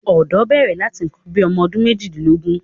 ọ̀dọ́ bẹ̀rẹ̀ láti nǹkan bí i ọmọdún méjìdínlógún.